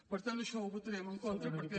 per tant això ho votarem en contra perquè